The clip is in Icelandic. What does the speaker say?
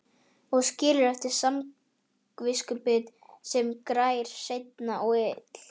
Og skilur eftir samviskubit sem grær seint og illa.